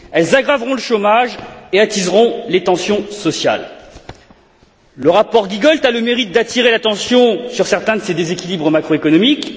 Elles aggraveront le chômage et attiseront les tensions sociales. Le rapport Giegold a le mérite d'attirer l'attention sur certains de ces déséquilibres macroéconomiques.